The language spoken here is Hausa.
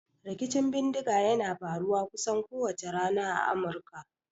Rikicin bindiga yana faruwa kusan kowace rana a Amurka.